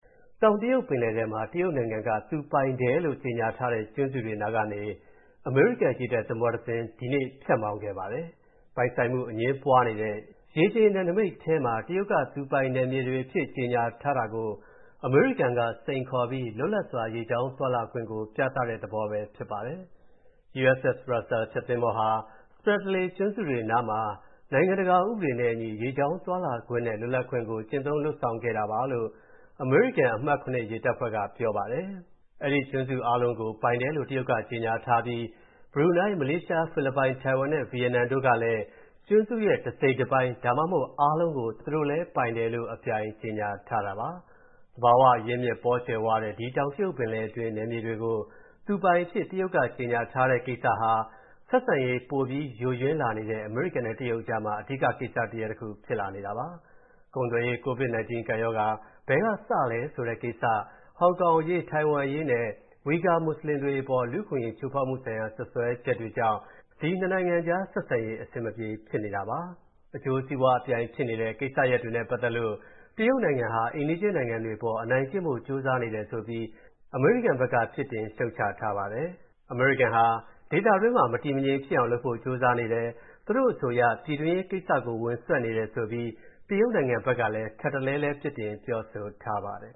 တောင်တရုတ်ပင်လယ်ထဲမှာ တရုတ်နိုင်ငံက သူပိုင်တယ်လို့ကြေညာထားတဲ့ ကျွန်းတွေနားကနေ အမေရိကန် ရေတပ်သင်္ဘောတစ်စင်း ဒီကနေ့ ဖြတ်မောင်းခဲ့ပါတယ်။ ပိုင်ဆိုင်မှုအငြင်းပွားနေတဲ့ ရေပြင်နယ်နိမိတ်ထဲမှာ တရုတ်က သူပိုင်နယ်တွေအဖြစ် ကြေညာထားတာကို အမေရိကန်က စိန်ခေါ်ပြီး လွတ်လပ်စွာ ရေကြောင်းသွားလာခွင့်ကို ပြသတဲ့သဘောပဲဖြစ်ပါတယ်။ USS Russell ဖျက်သင်္ဘောဟာ "Spratley ကျွန်းစုတွေနားမှာ နိုင်ငံတကာဥပဒေနဲ့အညီ ရေကြောင်းသွားလာခွင့်နဲ့ လွတ်လပ်ခွင့်ကို ကျင့်သုံးလုပ်ဆောင်ခဲ့ပါတယ်။" လို့ အမေရိကန် အမှတ် ၇ ရေတပ်ဖွဲ့က ပြောပါတယ်။ အဲဒီကျွန်းစုအားလုံးကို ပိုင်တယ်လို့ တရုတ်ကကြေညာထားပြီး ဘရူနိုင်း၊ မလေးရှား၊ ဖိလစ်ပိုင်၊ တိုင်ဝမ်နဲ့ ဗီယက်နမ်တို့ကလည်း ကျွန်းစုရဲ့ တစိတ်တပိုင်း ဒါမှမဟုတ် အားလုံးကို ပိုင်တယ်လို့ အပြိုင်ကြေညာထားတာပါ။ သဘာဝအရင်းအမြစ် ပေါကြွယ်ဝတဲ့ တောင်တရုတ်ပင်လယ်တွင်း နယ်မြေတွေကို သူပိုင်အဖြစ် တရုတ်ကကြေညာထားတဲ့ကိစ္စဟာ ဆက်ဆံရေး ပိုပြီးယိုယွင်းလာနေတဲ့ အမေရိကန်နဲ့ တရုတ်ကြားမှာ အဓိကကိစ္စရပ်တစ်ခု ဖြစ်လာနေတာပါ။ ကုန်သွယ်ရေး၊ COVID-19 ကပ်ရောဂါ ဘယ်ကစခဲ့သလဲဆိုတဲ့ကိစ္စ၊ ဟောင်ကောင်အရေး၊ တိုင်ဝမ်အရေးနဲ့ ဝီဂါမွတ်ဆလင်တွေအပေါ် လူ့အခွင့်အရေးချိုးဖောက်မှုဆိုင်ရာ စွပ်စွဲချက်တွေကြောင့် နှစ်နိုင်ငံကြားဆက်ဆံရေး အဆင်မပြေဖြစ်နေတာပါပဲ။ အကျိုးစီးပွား အပြိုင်ဖြစ်နေတဲ့ ကိစ္စရပ်တွေနဲ့ပတ်သက်လို့ တရုတ်နိုင်ငံဟာ အိမ်နီးချင်းနိုင်ငံတွေအပေါ် အနိုင်ကျင့်ဖို့ ကြိုးစားနေတယ်ဆိုပြီး အမေရိကန်က ပြစ်တင်ရှုတ်ချထားပါတယ်။ အမေရိကန်ဟာ ဒေသတွင်းမှာ မတည်မငြိမ်ဖြစ်အောင်လုပ်ဖို့ ကြိုးစားနေတယ်၊ သူတို့အဆိုအရ ပြည်တွင်းရေးကိစ္စတွေကို ဝင်စွက်နေတယ်ဆိုပြီး တရုတ်နိုင်ငံဘက်ကလည်း ထပ်တလဲလဲ ပြစ်တင် ပြောဆိုထားပါတယ်